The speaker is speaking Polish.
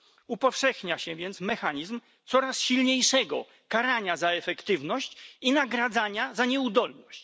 Upowszechnia się więc mechanizm coraz silniejszego karania za efektywność i nagradzania za nieudolność.